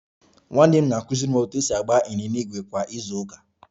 Nwanne m nwoke na-akụziri m otu esi agba ịnyịnya ígwè kwa izu ụka